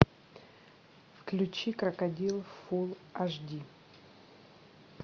включи крокодил фул аш ди